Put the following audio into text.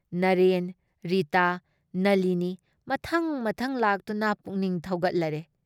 ꯅꯔꯦꯟ, ꯔꯤꯇꯥ, ꯅꯂꯤꯅꯤ ꯃꯊꯪ ꯃꯊꯪ ꯂꯥꯛꯇꯨꯅ ꯄꯨꯛꯅꯤꯡ ꯊꯧꯒꯠꯂꯔꯦ ꯫